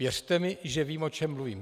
Věřte mi, že vím, o čem mluvím.